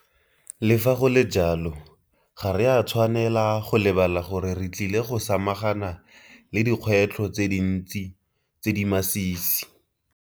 Le fa go le jalo, ga re a tshwanela go lebala gore re tlile go samagana le dikgwetlho tse dintsi tse di masisi.